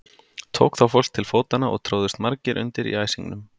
Tók þá fólk til fótanna og tróðust margir undir í æsingnum.